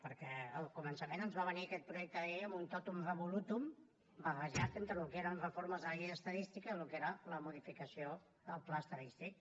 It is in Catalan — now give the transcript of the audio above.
perquè al començament ens va venir aquest projecte de llei amb un totum revolutum barrejat entre el que eren reformes de la llei d’estadística i el que era la modificació del pla estadístic